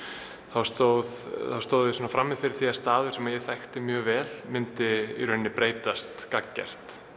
þá stóð stóð ég frammi fyrir því að staður sem ég þekkti mjög vel myndi breytast gagngert